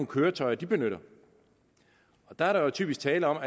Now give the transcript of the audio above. køretøjer de benytter der er der jo typisk tale om